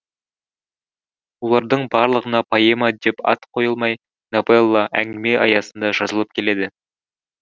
олардың барлығына поэма деп ат қойылмай новелла әңгіме аясында жазылып келеді